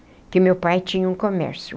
Porque o meu pai tinha um comércio.